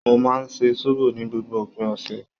Mo máa ń ṣe sóbò ní gbogbo òpin ọ̀sẹ̀